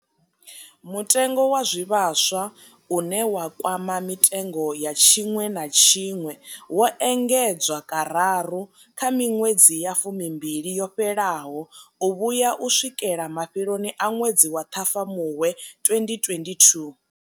Mutengo wa zwivhaswa, une wa kwama mitengo ya tshiṅwe na tshiṅwe, wo engedzwa kararu kha miṅwedzi ya fumimbili yo fhelaho u vhuya u swikela mafheloni a ṅwedzi wa Ṱhafamuhwe 2022.